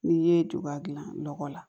N'i ye juba gilan lɔgɔ la